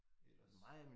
Ellers